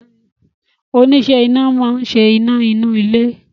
Oníṣẹ́ iná máa ń ṣe iná inú ilé